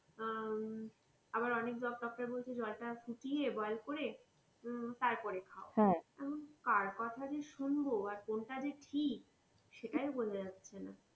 আহ আবার অনেক ডাক্তার বলছে জল তা ফুটিয়ে boil করে উম তারপরে খাও এখন কার কথা যে শুনবো আর কোনটা যে ঠিক সেইটাও বোঝা যাচ্ছেনা।